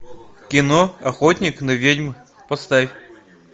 кино охотник на ведьм поставь